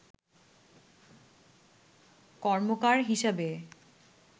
কর্মকার হিসাবে